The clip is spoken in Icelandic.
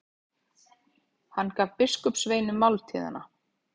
Hann gaf biskupssveinunum máltíðina.